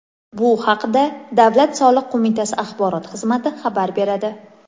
Bu haqda Davlat soliq qo‘mitasi axborot xizmati xabar beradi .